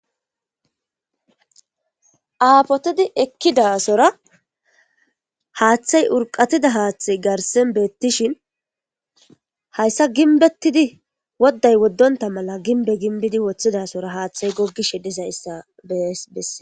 Aapotidi ekkidasora haaththay urqatida haaththay garsen beettishin hayssa ginbettidi wodday woddonta mala ginbe ginbidi woththidasora haaththay goggishe dizayssa bees besse.